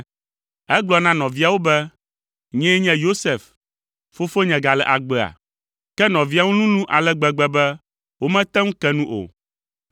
Egblɔ na nɔviawo be, “Nyee nye Yosef! Fofonye gale agbea?” Ke nɔviawo lulũ ale gbegbe be womete ŋu ke nu o.